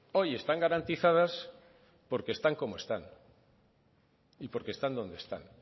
hoy están garantizadas porque están como están y porque están donde están